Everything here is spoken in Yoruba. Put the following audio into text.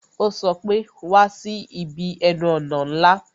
Ó sọ pé "Wá sí ibi ẹnu ọ̀nà ńlá"